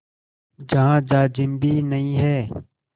जहाँ जाजिम भी नहीं है